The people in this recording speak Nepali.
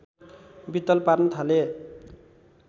वित्तल पार्न थाले